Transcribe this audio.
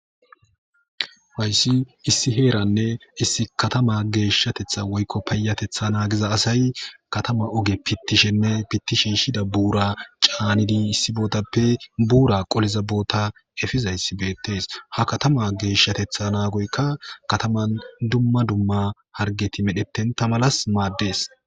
Haysi issi herane issi kattama geshatethi woylon payatethi nagiza asay kattama oge pitishenne pitishishida bura issi bottappe c'anidi Pura qoliza botta epizaysi bettes.ha katama geshateta nagoyka kataman dumma dumma hargeti medhetonta malas mades.